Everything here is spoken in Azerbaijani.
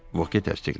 Vot təsdiqlədi.